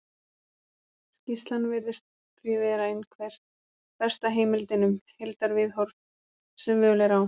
Skýrslan virðist því vera einhver besta heimildin um heildarviðhorf sem völ er á.